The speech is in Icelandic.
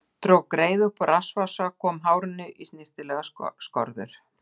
Dró greiðu upp úr rassvasa og kom hárinu í snyrtilegar skorður.